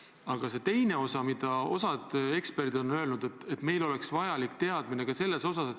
Aga osa eksperte on öelnud, et meil on vaja igasuguseid teadmisi.